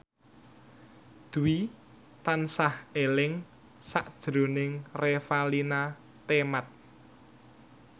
Dwi tansah eling sakjroning Revalina Temat